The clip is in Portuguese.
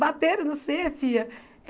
Bateram, em você, filha.